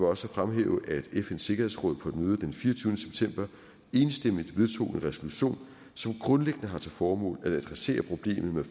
også fremhæve at fns sikkerhedsråd på et møde den fireogtyvende september enstemmigt vedtog en resolution som grundlæggende har til formål at adressere problemet med